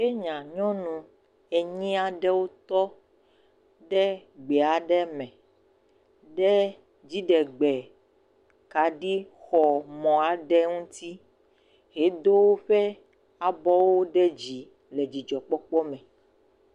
Kenya nyɔnu enyia ɖewo tɔ ɖe gbea ɖeme, ɖe dziɖegbe kaɖi xɔ mɔa ɖe ŋuti, he do woƒe abɔwo ɖe dzi le dzidzɔ kpɔkpɔ me.